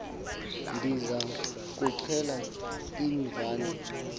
ndiza kuxel iinvani